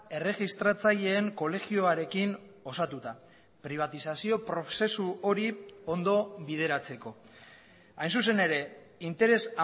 erregistratzaileen kolegioarekin osatuta pribatizazio prozesu hori ondo bideratzeko hain zuzen ere interes